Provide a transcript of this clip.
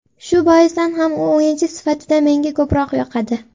Shu boisdan ham u o‘yinchi sifatida menga ko‘proq yoqadi.